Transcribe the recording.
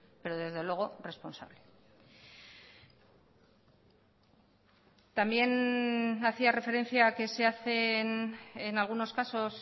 pero desde luego responsable también hacía referencia a que se hacen en algunos casos